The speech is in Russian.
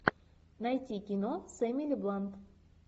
найти кино с эмили блант